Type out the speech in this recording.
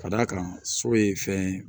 Ka d'a kan so ye fɛn ye